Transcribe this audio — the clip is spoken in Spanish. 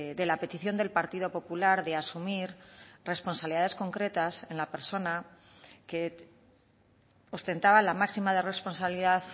de la petición del partido popular de asumir responsabilidades concretas en la persona que ostentaba la máxima responsabilidad